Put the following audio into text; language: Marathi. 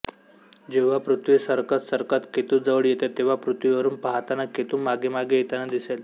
जेव्हा पृथ्वी सरकत सरकत केतूजवळ येते तेव्हा पृथ्वीवरून पाहाताना केतू मागेमागे येताना दिसेल